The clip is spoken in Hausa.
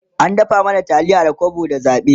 an raba mana taliyar Mai kwabo da zabe